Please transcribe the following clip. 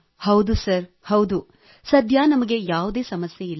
ಹೌದು ಸರ್ ಹೌದು| ಸದ್ಯ ನಮಗೆ ಯಾವುದೇ ಸಮಸ್ಯೆ ಇಲ್ಲ